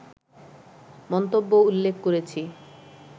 মন্তব্য উল্লেখ করেছি